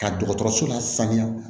Ka dɔgɔtɔrɔso lasaniya